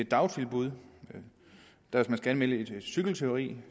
dagtilbud hvis man skal anmelde et cykeltyveri